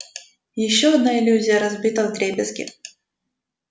ещё одна иллюзия разбита вдребезги